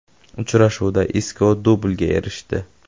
Uchrashuvda Isko dublga erishdi.